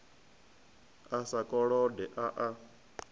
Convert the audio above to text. a sa kolode a a